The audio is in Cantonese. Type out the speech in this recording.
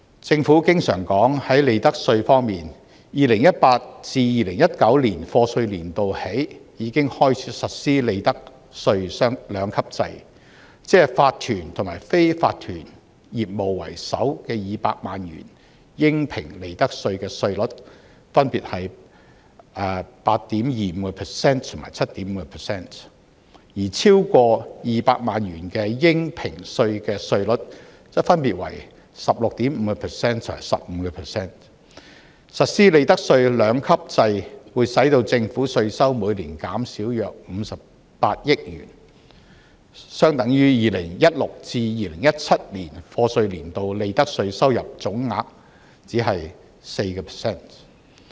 政府經常說在利得稅方面 ，2018-2019 課稅年度已開始實施利得稅兩級制，即法團及非法團業務的首200萬元應評利得稅稅率分別為 8.25% 和 7.5%， 而超過200萬元的應評稅稅率則分別為 16.5% 和 15%， 實施利得稅兩級制會令政府稅收每年減少約58億元，相等於 2016-2017 課稅年度利得稅收入總額僅 4%。